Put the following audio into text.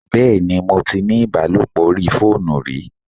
Bẹ́ẹ̀ni, mo tí ní ìbálòpọ̀ orí fóònù rí